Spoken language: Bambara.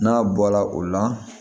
N'a bɔla o la